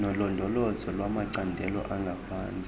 nolondolozo lwamacandelo angaphantsi